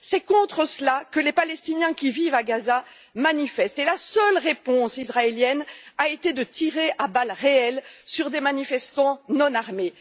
C'est contre cela que manifestent les Palestiniens qui vivent à Gaza, et la seule réponse israélienne a été de tirer à balles réelles sur des manifestants non armés.